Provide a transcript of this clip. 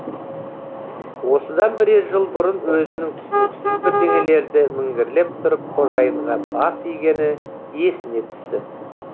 осыдан бірер жыл бұрын өзінің түсініксіз бірдеңелерді міңгірлеп тұрып қожайынға бас игені есіне түсті